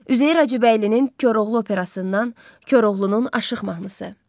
Üzeyir Hacıbəylinin Koroğlu operasından Koroğlunun aşıq mahnısı.